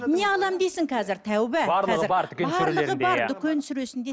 не аламын дейсің қазір тәуба